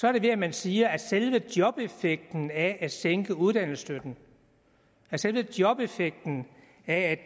er det ved at man siger at selve jobeffekten af at sænke uddannelsesstøtten at selve jobeffekten af